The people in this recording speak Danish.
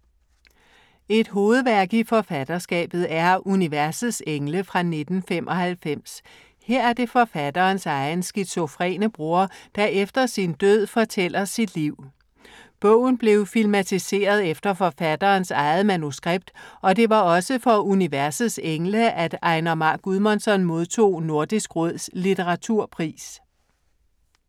Et hovedværk i forfatterskabet er Universets engle fra 1995. Her er det forfatterens egen skizofrene bror, som efter sin død, fortæller sit liv. Bogen blev filmatiseret efter forfatterens eget manuskript og det var også for Universets engle, at Einar Már Guðmundsson modtog Nordisk Råds Litteraturpris.